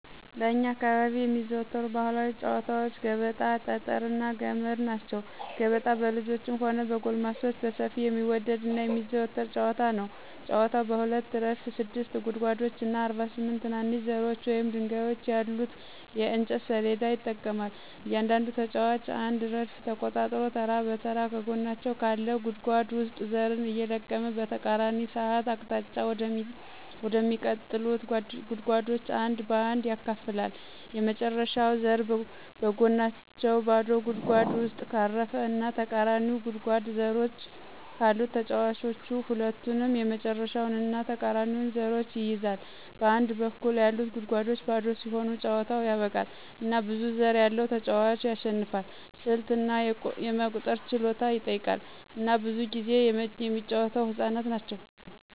በእኛ አካባቢ የሚዘወተሩ ባህላዊ ጨዋታወች ገበጣ፣ ጠጠር እና ገመድ ናቸው። ገበጣ በልጆችም ሆነ በጎልማሶች በሰፊው የሚወደድ እና የሚዘወተር ጨዋታ ነው። ጨዋታው በሁለት ረድፍ ስድስት ጉድጓዶች እና 48 ትናንሽ ዘሮች ወይም ድንጋዮች ያሉት የእንጨት ሰሌዳ ይጠቀማል. እያንዳንዱ ተጫዋች አንድ ረድፍ ተቆጣጥሮ ተራ በተራ ከጎናቸው ካለ ጉድጓድ ውስጥ ዘርን እየለቀመ በተቃራኒ ሰዓት አቅጣጫ ወደሚቀጥሉት ጉድጓዶች አንድ በአንድ ያከፋፍላል። የመጨረሻው ዘር በጎናቸው ባዶ ጉድጓድ ውስጥ ካረፈ እና ተቃራኒው ጉድጓድ ዘሮች ካሉት ተጫዋቹ ሁለቱንም የመጨረሻውን እና ተቃራኒውን ዘሮች ይይዛል. በአንድ በኩል ያሉት ጉድጓዶች ባዶ ሲሆኑ ጨዋታው ያበቃል፣ እና ብዙ ዘር ያለው ተጫዋች ያሸንፋል። ስልት እና የመቁጠር ችሎታን ይጠይቃል፣ እና ብዙ ጊዜ የሚጫወተው ህፃናት ናቸው።